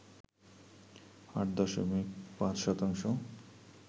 ৮ দশমিক ০৫ শতাংশ